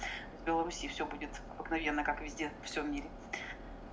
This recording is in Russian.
в белоруссии всё будет обыкновенно как везде всём мире